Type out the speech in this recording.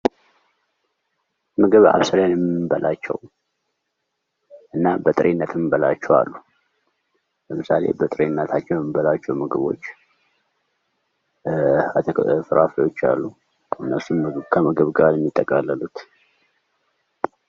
ምኞቴ እንግዲህ አብስለን የምንበላቸው እንዲሁም በጥሬነት የምንበላቸው አሉ:: ለምሳሌ በጥሬነታቸው የምንበላቸው ምግቦች ፍራፍሬዎች አሉ እነሱም ከምግብ ጋር ነው የሚጠቃለሉት::